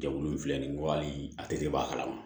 Jɛkulu in filɛ nin ye ko hali a tɛ dɛbɔ a kalama